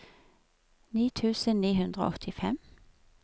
ni tusen ni hundre og åttifem